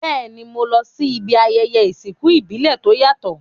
Béèni, mo lo si ibi ayẹyẹ ìsìnkú ìbílẹ̀ to yàtò